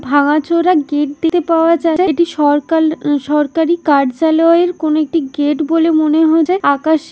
ভাঙাচোরা গেট দে পাওয়া যায় এটি সরকার সরকারি কার্যালয় এর কোন একটি গেট বলে মনে হয় আকাশ।